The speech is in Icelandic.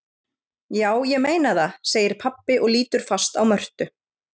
Já, ég meina það, segir pabbi og lítur fast á Mörtu.